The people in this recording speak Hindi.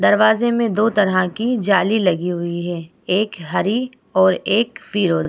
दरवाजे में दो तरह की जाली लगी हुई है एक हरी और एक फिरोजी --